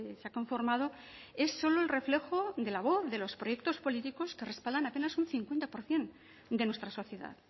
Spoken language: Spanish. se ha conformado es solo el reflejo de la voz de los proyectos políticos que respaldan apenas un cincuenta por ciento de nuestra sociedad